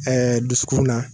dusukun na